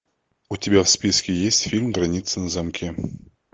у тебя в списке есть фильм граница на замке